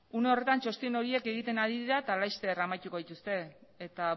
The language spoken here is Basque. une honetan txosten horiek egiten ari dira eta laster amaituko dituzte eta